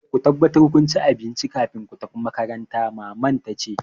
Ku tabbatar kun ci abinci kafin ku tafi makaranta! Maman ta ce.